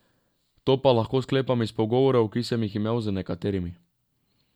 To pa lahko sklepam iz pogovorov, ki sem jih imel z nekaterimi.